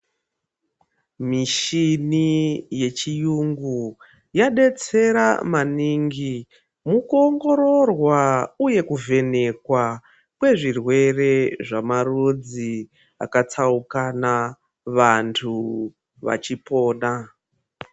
Muchini yechiyungu yadetsera maningi mukuongororwa uye kuvhenekwa kwezvirwere vemarudzi akatsaukana. Vantu vachikona.